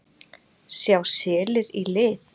Sjá selir í lit?